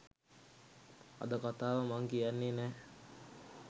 අද කතාව මං කියන්නේ නෑ.